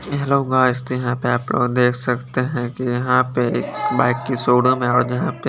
hello guys तो यहां पे आप लोग देख सकते हैं कि यहां पे एक बाइक की शोरूम है और जहां पे--